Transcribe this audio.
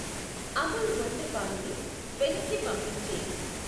అమూల్ ఒంటె పాలు ని వెనక్కి పంపించేయి.